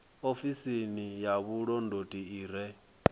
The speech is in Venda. ofisi ya vhulondoti i re